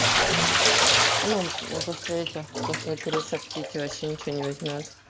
ну после этих после крыса в кете вообще ничего не возьмёт